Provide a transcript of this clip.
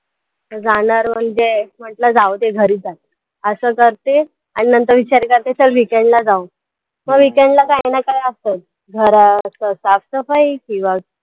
जाणार म्हणजे म्हंटलं जाऊदे घरी जाऊ असं करते आणि नंतर विचार करते चल weekend जाऊ मग weekend ला काही ना काही असतचं, घरातलं साफसफाई किंवा